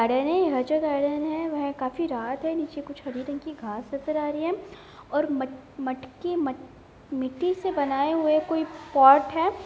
वह काफी रात है नीचे कुछ हरी रंग की घास नजर आ रही है और मट मटकी मट मिट्टी से बनाए हुए कोई पोट है।